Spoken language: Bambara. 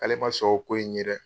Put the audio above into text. K'ale ma sɔn o ko ye dɛ!